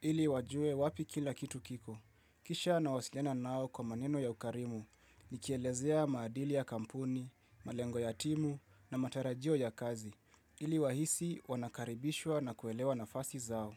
ili wajue wapi kila kitu kiko. Kisha nawasiliana nao kwa maneno ya ukarimu, nikielezea maadili ya kampuni, malengo ya timu na matarajio ya kazi, ili wahisi wanakaribishwa na kuelewa nafasi zao.